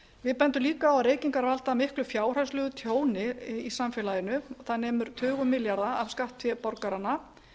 við bendum líka á að reykingar valda miklu fjárhagslegu tjóni í samfélaginu það nemur tugum milljarða af skattfé borgaranna